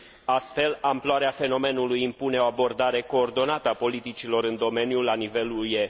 Astfel, amploarea fenomenului impune o abordare coordonată a politicilor în domeniu la nivelul UE.